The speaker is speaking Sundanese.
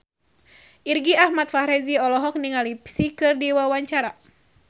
Irgi Ahmad Fahrezi olohok ningali Psy keur diwawancara